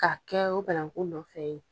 Ka kɛ o bananku nɔfɛ ye